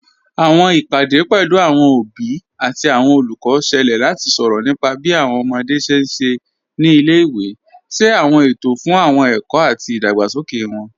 Awọn ìpadẹ̀ pẹ̀lú awọn obì àti awọn olùkọ́ ṣẹ̀lẹ̀ láti sọrọ̀ nípà bí awọn ọmọdé ṣé n ṣé ní ilẹ̀-ìwé, ṣé awọn ètò fún ẹ̀kọ̀ àti ìdágbàsókè wọn.